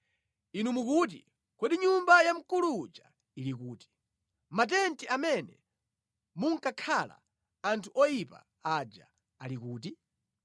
Inu mukuti, ‘Kodi nyumba ya mkulu uja ili kuti, matenti amene munkakhala anthu oyipa aja ali kuti?’